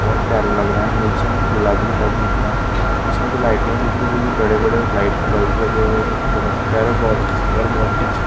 बहुत प्यारे लग रहे है निचे हमको गुलाब ही गुलाब दिख रहे है पीछे हमको लाइटिंग दिख रही है जो की बड़े बड़े लाइट के बल्ब लगे हुए है जो की बहुत ही प्यारे बहुत ही सुन्दर बहुत ही अच्छे--